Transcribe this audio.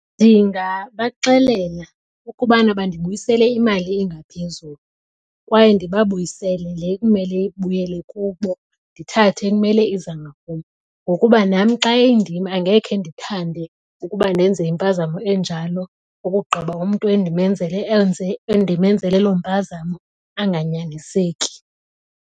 Ndingabaxelela ukubana bandibuyisele imali engaphezulu kwaye ndibabuyisele le kumele ibuyele kubo ndithathe ekumele iza ngakum. Ngokuba nam xa indim angekhe ndithande ukuba ndenze impazamo enjalo ukugqiba umntu endimenzele loo mpazamo anganyaniseki.